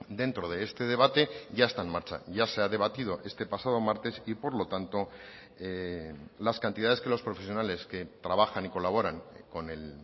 dentro de este debate ya está en marcha ya se ha debatido este pasado martes y por lo tanto las cantidades que los profesionales que trabajan y colaboran con el